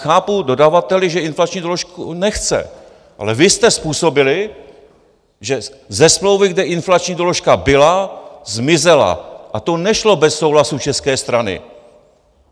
Chápu dodavatele, že inflační doložku nechce, ale vy jste způsobili, že ze smlouvy, kde inflační doložka byla, zmizela, a to nešlo bez souhlasu české strany.